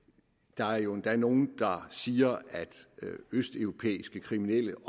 der er jo endda nogle der siger at østeuropæiske kriminelle